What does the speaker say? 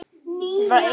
Kominn til að vera.